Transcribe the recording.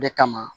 O de kama